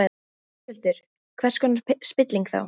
Höskuldur: Hvers konar spilling, þá?